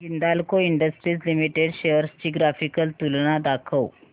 Hindalco industries limited shares ची graphical तुलना दाखव